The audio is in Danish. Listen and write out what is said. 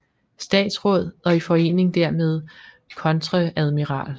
Statsraad og i Forening dermed Kontreadmiral